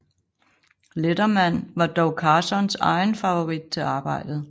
Letterman var dog Carsons egen favorit til arbejdet